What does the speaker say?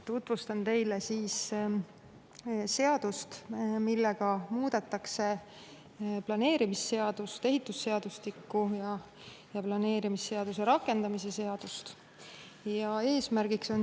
Tutvustan teile seadust, millega muudetakse planeerimisseadust, ehitusseadustikku, planeerimisseaduse rakendamise seadust.